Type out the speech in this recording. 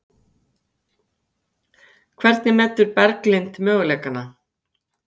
Hvernig metur Berglind möguleikana?